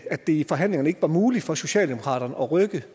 at det i forhandlingerne ikke var muligt for socialdemokratiet at rykke